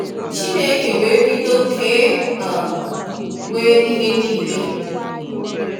Chineke wee bido ke um we ihe nịịle